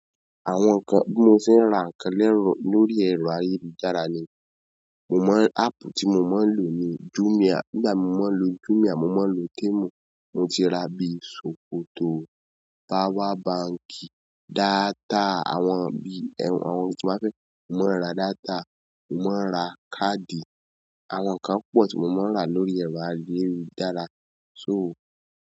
Àwọn nǹkan, bi mo sẹ́ ra nǹkan lórí ẹ̀rọ ayélujára ni. Mo maa n, áàpù tí mo máa ń lò ni Jumia. Nígbà míì mo má ń lo Jumia, mo máa ń lo Temu. Mo ti ra bíi ṣòkòtò, power bank, data àwọn bí i àwọn ohun tí mo fẹ́, mo máa ń ra data, mo máa ń ra káàdì. Àwọn nǹkan púpọ̀ tí mo máa ń rà lórí ẹ̀rọ ayélujára. So.